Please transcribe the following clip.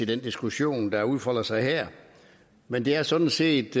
den diskussion der udfolder sig her men det er sådan set